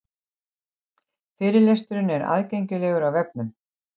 Fyrirlesturinn er aðgengilegur á vefnum